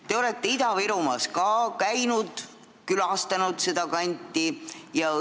Te olete ka Ida-Virumaal käinud, olete seda kanti külastanud.